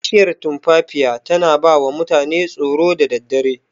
Bishiyar tumfafiya tana bawa mutane tsoro da daddare.